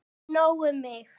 En nóg um mig.